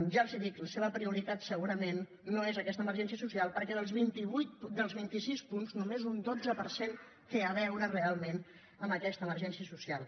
ja els ho dic la seva prioritat segurament no és aquesta emergència social perquè dels vint i sis punts només un dotze per cent té a veure realment amb aquesta emergència social